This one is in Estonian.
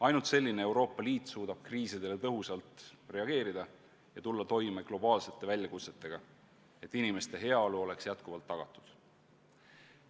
Ainult selline Euroopa Liit suudab kriisidele tõhusalt reageerida ja tulla toime globaalsete väljakutsetega, et inimeste heaolu oleks jätkuvalt tagatud.